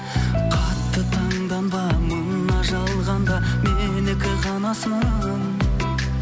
қатты таңданба мына жалғанда менікі ғанасың